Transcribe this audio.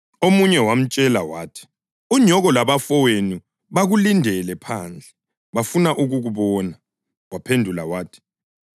Omunye wamtshela wathi, “Unyoko labafowenu bakulindele phandle, bafuna ukukubona.”